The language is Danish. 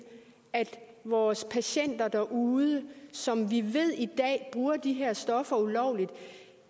at vores patienter derude som vi ved bruger de her stoffer ulovligt